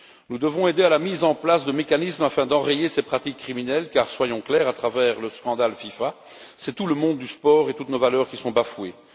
Nous devons aider à la mise en place de mécanismes afin d'enrayer ces pratiques criminelles, car, soyons clairs, à travers le scandale de la FIFA, c'est tout le monde du sport et toutes nos valeurs qui sont bafoués.